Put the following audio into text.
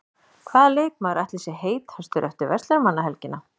Hvaða leikmaður ætli sé heitastur eftir Verslunarmannahelgina?